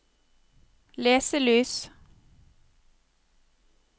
leselys